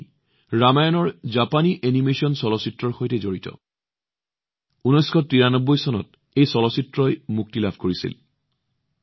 এই কোম্পানীটো ৰামায়ণৰ জাপানী এনিমেচন চলচ্চিত্ৰৰ সৈতে সম্পৰ্কিত যি ১৯৯৩ চনত মুক্তি পাইছিল